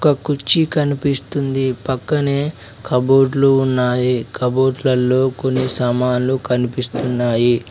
ఓ కుర్చీ కనిపిస్తుంది పక్కనే కబోర్డులు ఉన్నాయి కబోర్డ్ల లో కొన్ని సామాన్లు కనిపిస్తున్నాయి.